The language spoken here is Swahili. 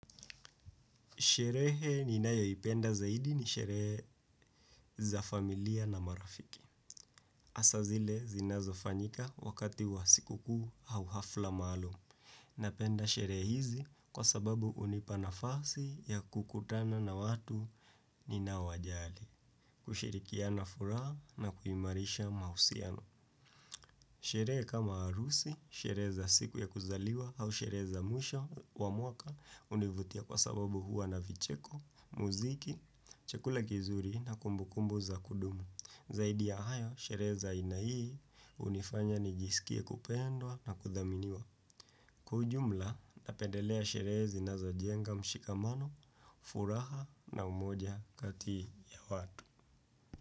Sherehe ninayoipenda zaidi ni sherehe za familia na marafiki. hAsa zile zinazofanyika wakati wa sikukuu au hafla maalum. Napenda sherehe hizi kwa sababu hunipa nafasi ya kukutana na watu ninaowajali. Kushirikia na furaha na kuimarisha mahusiano. Sherehe kama harusi, sherehe za siku ya kuzaliwa au sherehe za mwisho wa mwaka hunivutia kwa sababu huwa na vicheko, muziki, chakula kizuri na kumbukumbu za kudumu. Zaidi ya hayo, sherehe za inai hii hunifanya nijisikie kupendwa na kuthaminiwa. Kwa ujumla, napendelea sherehe zinazojenga mshikamano, furaha na umoja kati ya watu.